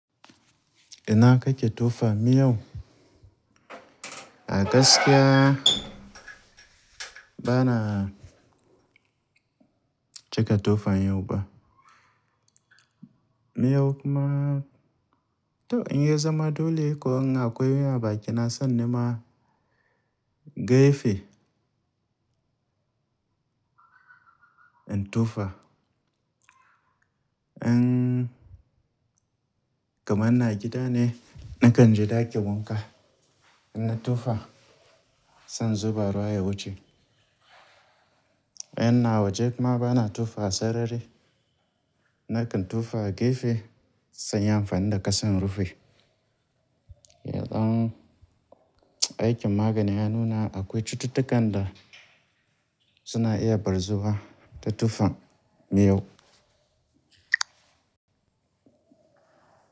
Ina kake tofa miyau? A gaskiya bana cika tofa miyau ba. Miyau kuma to in yanzu ma dole ko an ga kowane abu a ciki na san nema gefe in tofa. In kamar ina gida ne, nakan je daki wanka ina tofa sai in zuba ruwa ya wuce. In ina waje kuma bana tofa a sarari, nakan tofa a gefe sai in yi amfani da kasa in rufe. Yanzu aikin magani ya nuna akwai cututtukan da suna iya bar zuwa ta tufan miyau.